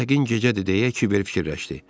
Yəqin gecədir deyə kiber fikirləşdi.